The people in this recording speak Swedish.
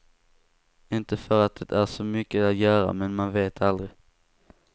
Inte för att det är så mycket att göra, men man vet aldrig.